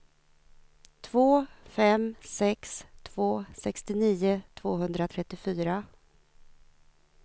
två fem sex två sextionio tvåhundratrettiofyra